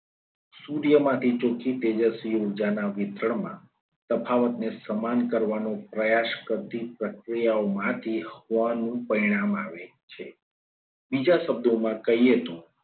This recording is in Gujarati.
સૂર્યમાંથી ચોખ્ખી તેજસ્વી ઊર્જાના વિતરણમાં તફાવત ને સમાન કરવા નો પ્રયાસ કરતી પ્રક્રિયાઓમાંથી પરિણામ આવે છે. બીજા શબ્દોમાં કહીએ તો